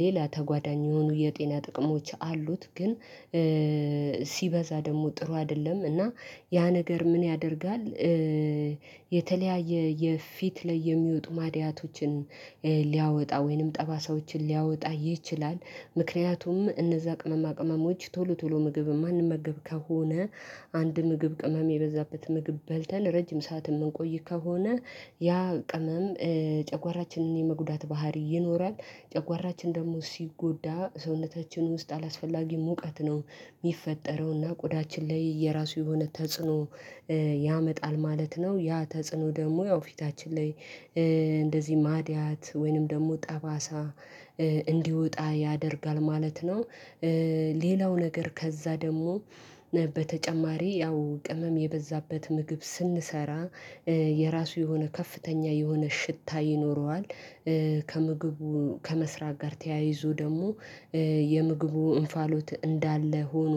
ሌላ ተጓዳኝ የሆኑ የጤና ጥቅሞች አሉት። ግን ሲበዛ ደግሞ ጥሩ አይደለም እና ያ ነገር ምን ያደርጋል የተለያየ የፊት ላይ የሚወጡ ማድያቶችን ሊያወጣ ወይንም ጠባሳዎችን ሊያወጣ ይችላል። ምክንያቱም እነዛ ቅመማ ቅመሞች ቶሎ ቶሎ ምግብ የማንመገብ ከሆነ አንድ ምግብ ቅመም የበዛበት ምግብ በልተን ረጅም ሰዓት የምንቆይ ከሆነ ያ ቅመም ጨጓራችንን የመጉዳት ባህሪ ይኖራል ጨጓራችን ደግሞ ሲጎዳ ሰውነታችን ውስጥ አላስፈላጊ ሙቀት ነው የሚፈጠረውና ቆዳችን ላይ የራሱ የሆነ ተጽዕኖ ያመጣል ማለት ነው። ያ ተጽዕኖ ደግሞ ያው ፊታችን ላይ እንደዚህ ማድያት ወይንም ደግሞ ጠባሳ እንዲወጣ ያደርጋል ማለት ነው። ሌላው ነገር ከዛ ደግሞ በተጨማሪ ያው ቅመም የበዛበት ምግብ ስንሰራ የራሱ የሆነ ከፍተኛ የሆነ ሽታ ይኖረዋል። ከምግቡ ከመስራት ጋር ተያይዞ ደግሞ የምግቡ እንፋሎት እንዳለ ሆኖ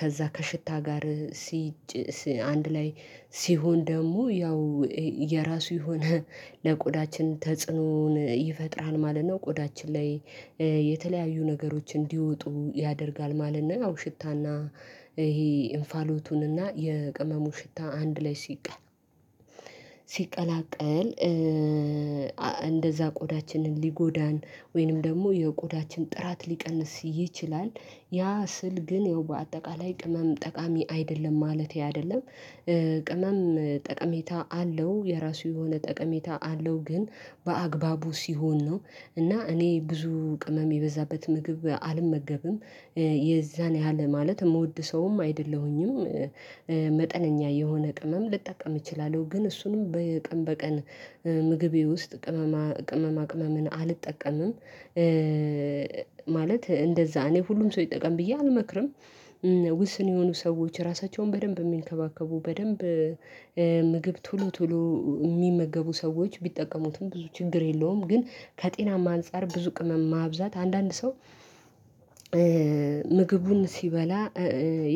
ከዛ ከሽታ ጋር ሲ አንድ ላይ ሲሆን ደግሞ ያው የራሱ የሆነ ለቆዳችን ተጽዕኖን ይፈጥራል ማለት ነው ቆዳችን ላይ የተለያዩ ነገሮች እንዲወጡ ያደርጋል ማለት ነው ያው ሽታና ይሄ እንፋሎቱንና የቅመሙ ሽታ አንድ ላይ ሲቀር ሲቀላቀል እንደዛ ቆዳችንን ሊጎዳን ወይንም ደግሞ የቆዳችን ጥራት ሊቀንስ ይችላል። ያ ስል ግን ያው በአጠቃላይ ቅመም ጠቃሚ አይደለም ማለቴ አይደለም። ቅናም ጠቀሜታ አለው የራሱ የሆነ ጠቀሜታ አለው ግን በአግባቡ ሲሆን ነው። እና እኔ ብዙ ቅመም የበዛበት ምግብ አልመገብም የዛን ያህል ማለት የምወድ ሰውም አይደለሁኝም። መጠነኛ የሆነ ቅመም ልጠቀም እችላለሁ ግን እሱንም በቀን በቀን ምግቤ ውስጥ ቅመማ ቅመማ ቅመምን አልጠቀምም ማለት እንደዛ እኔ ሁሉም ሰው ይጠቀም ብዬ አልመክርም። ውስን የሆኑ ሰዎች ራሳቸውን በደንብ የሚንከባከቡ በደንብ ምግብ ቶሎ ቶሎ የሚመገቡ ሰዎች ቢጠቀሙትም ብዙ ችግር የለውም። ግን ከጤናማ አንፃር ብዙ ቅመም ማብዛት አንዳንድ ሰው ምግቡን ሲበላ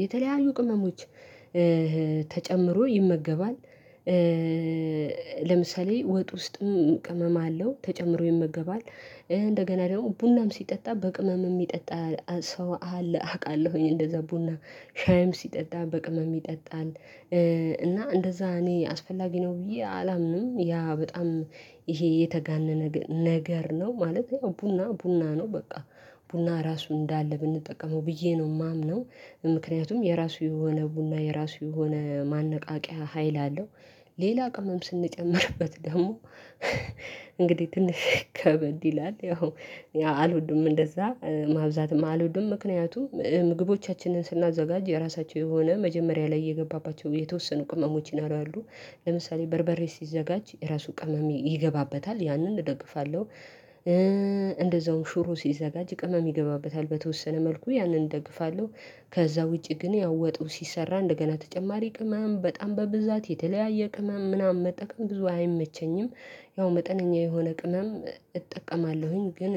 የተለያዩ ቅመሞች ተጨምሮ ይመገባል። ለምሳሌ ወጥ ውስጥም ቅመም አለው ተጨምሮ ይመገባል እንደገና ደግሞ ቡናም ሲጠጣ በቅመም የሚጠጣ ሰው አለ አውቃለሁኝ እንደዛ ቡና ሻይም ሲጠጣ በቅመም ይጠጣል። እና እንደዛ እኔ አስፈላጊ ነው ብዬ አላምንም። ያ በጣም ይሄ የተጋነነ ነገር ነው ማለት ያው ቡና ቡና ነው በቃ ቡና ራሱ እንዳለ ብንጠቀመው ብዬ ነው የማምነው። ምክንያቱም የራሱ የሆነ ቡና የራሱ የሆነ ማነቃቂያ ሀይል አለው። ሌላ ቅመም ስንጨምርበት ደግሞ እንግዲህ ትንሽ ከበድ ይላል ያው አልወድም እንደዛ ማብዛትም አልወድም። ምክንያቱም ምግቦቻችንን ስናዘጋጅ የራሳቸው የሆነ መጀመሪያ ላይ የገባባቸው የተወሰኑ ቅመሞችን ይኖራሉ አሉ ለምሳሌ በርበሬ ሲዘጋጅ ራሱ ቅመም ይገባበታል ያንን እደግፋለሁ። እንደዛውም ሹሮ ሲዘጋጅ ቅመም ይገባበታል በተወሰነ መልኩ ያንን እደግፋለሁ። ከዛ ውጪ ግን ያወጡ ሲሰራ እንደገና ተጨማሪ ቅመም በጣም በብዛት የተለያየ ቅመም ምናምን መጠቀም ብዙ አይመቸኝም። ያው መጠነኛ የሆነ ቅመም እጠቀማለሁኝ ግን